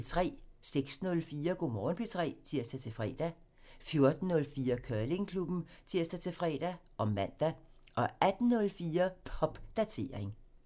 06:04: Go' Morgen P3 (tir-fre) 14:04: Curlingklubben (tir-fre og man) 18:04: Popdatering (tir)